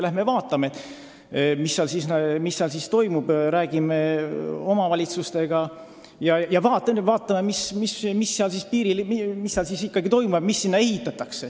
Läheme vaatame, mis kohapeal toimub, räägime omavalitsustega, vaatame, mis piiril ikkagi sünnib ja mida Läti poolele ehitatakse.